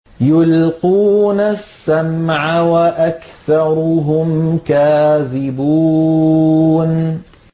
يُلْقُونَ السَّمْعَ وَأَكْثَرُهُمْ كَاذِبُونَ